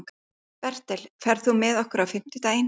Bertel, ferð þú með okkur á fimmtudaginn?